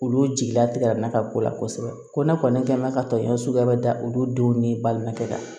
Olu jigilatigɛra na ka ko la kosɛbɛ ko ne kɔni kɛ mɛn ka tɔɲɔn suguya bɛ da olu denw ni balimakɛ kan